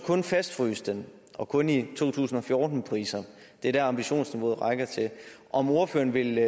kun fastfryse den og kun i to tusind og fjorten priser det er det ambitionsniveauet rækker til om ordføreren vil